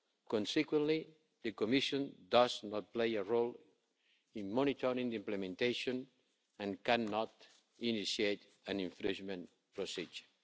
Consequently, the Commission does not play a role in monitoring the implementation and cannot initiate an infringement procedure.